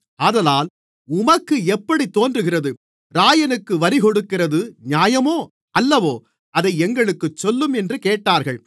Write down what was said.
ஆதலால் உமக்கு எப்படித் தோன்றுகிறது இராயனுக்கு வரிகொடுக்கிறது நியாயமோ அல்லவோ அதை எங்களுக்குச் சொல்லும் என்று கேட்டார்கள்